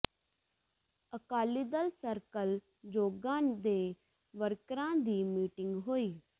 Akali Dal circle Joga ਦੇ ਵਰਕਰਾਂ ਦੀ ਮੀਟਿੰਗ ਹੋਈ